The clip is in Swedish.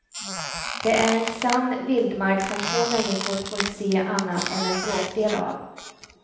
Det är en sann vildmark som få människor får se annat än en bråkdel av.